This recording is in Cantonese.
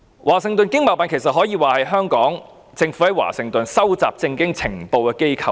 華盛頓經貿辦其實可說是香港政府在華盛頓收集政經情報的機構。